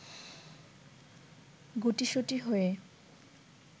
গুটিসুটি হয়ে